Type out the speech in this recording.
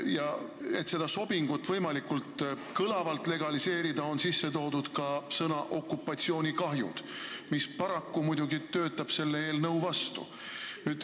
Ja et seda sobingut võimalikult kõlavalt legaliseerida, on mängu toodud ka sõna "okupatsioonikahjud", mis paraku töötab selle eelnõu vastu.